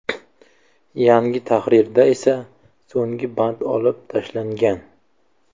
Yangi tahrirda esa so‘nggi band olib tashlangan.